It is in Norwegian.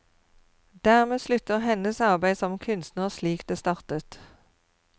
Dermed slutter hennes arbeid som kunstner slik det startet.